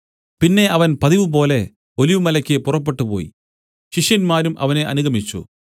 പിന്നെ അവൻ പതിവുപോലെ ഒലിവുമലയ്ക്ക് പുറപ്പെട്ടുപോയി ശിഷ്യന്മാരും അവനെ അനുഗമിച്ചു